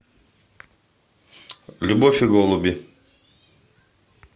любовь и голуби